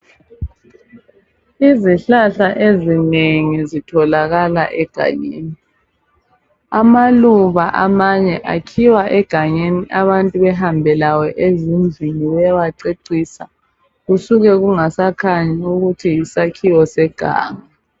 Izihlahla ezinengi zitholakala egangeni. Amaluba amanye akhiwa egangeni abantu bahambe lawo ezindlini bayececisa kusuka kungasakhanyi ukuthi yizihlahla zeganga.